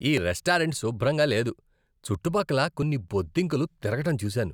ఆ రెస్టారెంట్ శుభ్రంగా లేదు, చుట్టుపక్కల కొన్ని బొద్దింకలు తిరగడం చూశాను.